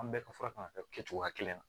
An bɛɛ ka fura kan ka kɛ cogoya kelen na